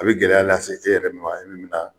A bɛ gɛlɛya lase e yɛrɛ de ma, e min be na